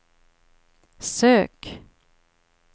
sök